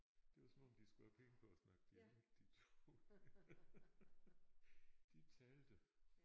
Det var som om de skulle have penge for at snakke dialekt de 2. De talte